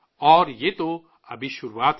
اور یہ تو ابھی شروعات ہے